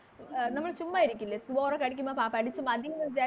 അഹ് നമ്മള് ചുമ്മാ ഇരിക്കില്ല Through hour പഠിക്കുമ്പോ പ പഠിച്ച് മതീന്ന് വിചാരി